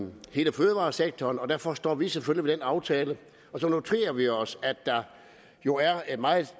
hele fødevaresektoren og derfor står vi selvfølgelig aftale og så noterer vi os at der jo er et meget